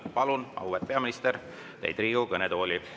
Palun, auväärt peaminister, teid Riigikogu kõnetooli!